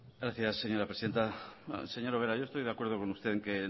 gracias señora presidenta señora ubera yo estoy de acuerdo con usted en que